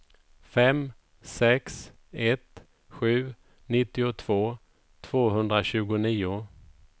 fem sex ett sju nittiotvå tvåhundratjugonio